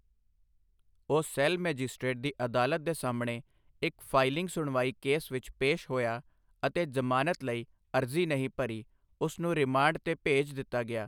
ਉਹ ਸੇਲ ਮੈਜਿਸਟ੍ਰੇਟਸ ਦੀ ਅਦਾਲਤ ਦੇ ਸਾਹਮਣੇ ਇੱਕ ਫਾਈਲਿੰਗ ਸੁਣਵਾਈ ਕੇਸ ਵਿੱਚ ਪੇਸ਼ ਹੋਇਆ ਅਤੇ ਜ਼ਮਾਨਤ ਲਈ ਅਰਜ਼ੀ ਨਹੀਂ ਭਰੀ, ਉਸ ਨੂੰ ਰਿਮਾਂਡ ਤੇ ਭੇਜ ਦਿੱਤਾ ਗਿਆ।